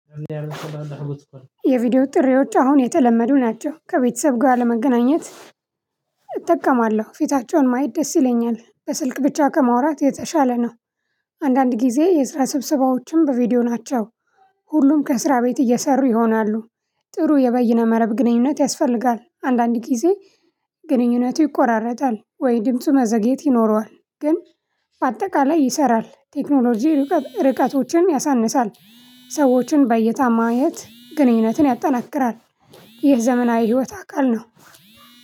የቪዲዮ ጥሪዎች አሁን የተለመዱ ናቸው ከቤተሰብ ጋር ለመገናኘት እጠቀማለሁ ፊታቸውን ማየት ደስ ይለኛል በስልክ ብቻ ከማውራት የተሻለ ነው። አንዳንድ ጊዜ የስራ ስብስባዎችን በቪዲዮ ናቸው ሁሉም ከስራ ቤት እየሰሩ ይሆናሉ። ጥሩ የበይነ መረብ ግንኙነት ያስፈልጋል አንዳንድ ጊዜ። ግንኙነቱ ይቆራረጣል ወይ ድምፁ መዘግየት ይኖረዋል። ግን በአጠቃላይ ይሰራል ቴክኖሎጂ ርቀቶችን ያሳንሳል። ሰዎችን በይታ ማየት ግንኙነትን ያጠናክራል። ይህ ዘመናዊ ህይወት አካል ነው።